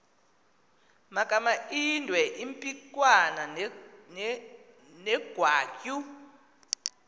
magamaindwe impikwana negwatyu